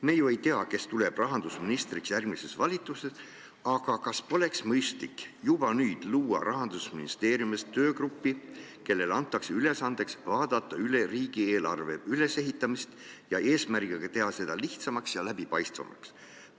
Me ju ei tea, kes saab rahandusministriks järgmises valitsuses, aga kas poleks mõistlik juba nüüd luua Rahandusministeeriumis töögrupp, kellele antakse ülesandeks vaadata üle riigieelarve ülesehitamine eesmärgiga teha seda lihtsamaks ja läbipaistvamaks?